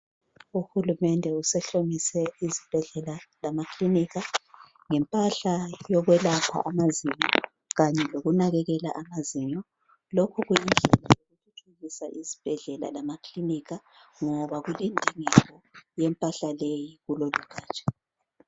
Uhulumende usehlomise izibhedlela lamakilinika ngempahla yokwelapha amazinyo Kanye lokunakekela amazinyo lokhu ukuthuthukisa izibhedlela lamakilinika ngoba kulendingeko yempahla leyi kulolugatsha.